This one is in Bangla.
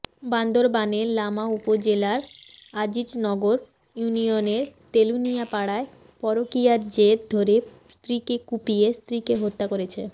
বান্দরবানের লামা উপজেলার আজিজনগর ইউনিয়নের তেলুনিয়া পাড়ায় পরকীয়ার জের ধরে স্ত্রীকে কুপিয়ে স্ত্রীকে হত্যা করেছে